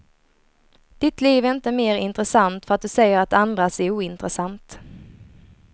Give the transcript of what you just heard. Ditt liv är inte mer intressant för att du säger att andras är ointressant.